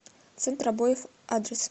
центр обоев адрес